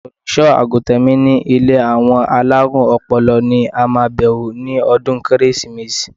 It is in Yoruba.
Olùṣọ́-àgùntàn mi ní ilé àwọn alárùn ọpọlọ ni a máa bewo ní ọdún Kérésìmesì.